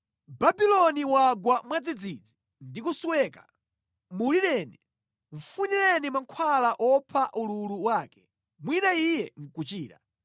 Babuloni wagwa mwadzidzidzi ndi kusweka. Mulireni! Mfunireni mankhwala opha ululu wake; mwina iye nʼkuchira.”